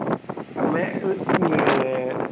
ଆମେ ଏ